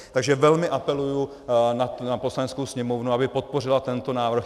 Takže velmi apeluji na Poslaneckou sněmovnu, aby podpořila tento návrh.